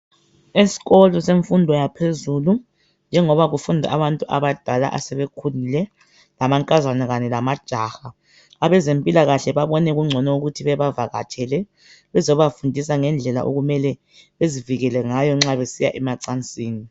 Esikolo semfundo yaphezulu njengoba kufunda abantu abadala asebekhulile amankazana kanye lamajaha, abezempilakahle babone kungcono ukuthi bebavaktshele bezobafundisa ngendlela okumele bezivekele ngayo nxa besiya emacansini